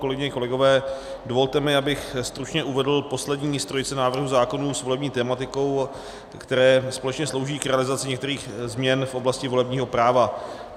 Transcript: Kolegyně, kolegové, dovolte mi, abych stručně uvedl poslední z trojice návrhů zákonů s volební tematikou, které společně slouží k realizaci některých změn v oblasti volebního práva.